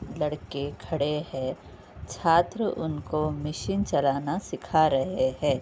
लड़के खड़े हैं। छात्र उनको मशीन चलाना सिखा रहे हैं।